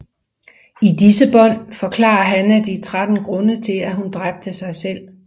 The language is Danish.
I disse bånd forklarer Hannah de 13 grunde til at hun dræbte sig selv